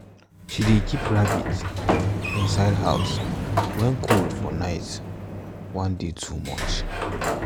she dey keep rabbits inside house when cold for night um dey too much